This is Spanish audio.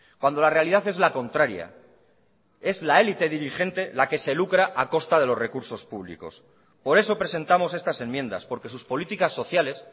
cuando la realidad es la contraria es la élite dirigente la que se lucra a costa de los recursos públicos por eso presentamos estas enmiendas porque sus políticas sociales